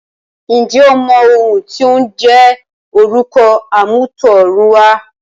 ǹjẹ́ o mọ ohùn ti ó ń jẹ́ orúkọ àmútọ̀runwá?